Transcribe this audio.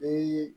Ee